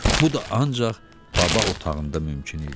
Bu da ancaq baba otağında mümkün idi.